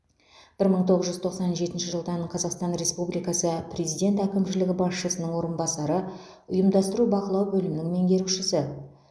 бір мың тоғыз жүз тоқсан жетінші жылдан қазақстан республикасы президент әкімшілігі басшысының орынбасары ұйымдастыру бақылау бөлімінің меңгерушісі